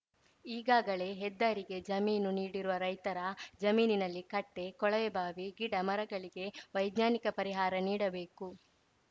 ಈಗಾಗಲೇ ಹೆದ್ದಾರಿಗೆ ಜಮೀನು ನೀಡಿರುವ ರೈತರ ಜಮೀನಿನಲ್ಲಿ ಕಟ್ಟೆ ಕೊಳವೆಬಾವಿ ಗಿಡ ಮರಗಳಿಗೆ ವೈಜ್ಞಾನಿಕ ಪರಿಹಾರ ನೀಡಬೇಕು